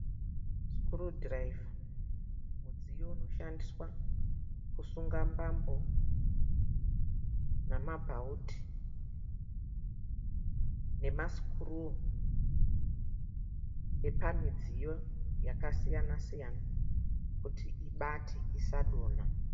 Screw driver mudziyo unoshandiswa kusunga mbambo namabhaudi nama screw epamidziyo yakasiyana siyina kuti ibate isa donha.